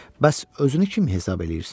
Bəs özünü kim hesab eləyirsən?